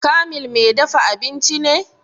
Kamil mai dafa abinci ne?